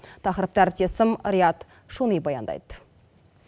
тақырыпты әріптесім риат шони баяндайды